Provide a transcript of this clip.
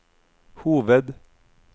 hoved